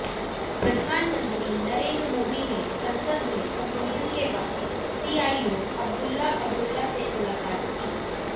प्रधानमंत्री नरेंद्र मोदी ने संसद में संबोधन के बाद सीईओ अब्दुल्ला अब्दुल्ला से मुलाकात की